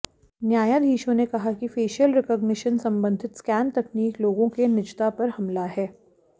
न्यायाधीशों ने कहा कि फेशियल रिकग्निशन संबंधित स्कैन तकनीक लोगों के निजता पर हमला है